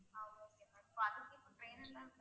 ஆஹ் okay ma'am இப்ப அதுக்கு இப்ப trainer லா